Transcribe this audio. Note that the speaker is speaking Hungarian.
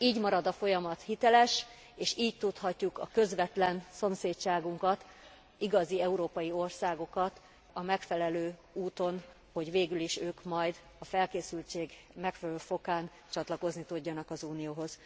Így marad a folyamat hiteles, és így tudhatjuk a közvetlen szomszédságunkat, igazi európai országokat a megfelelő úton, hogy végülis ők majd a felkészültség megfelelő fokán csatlakozni tudjanak az Unióhoz.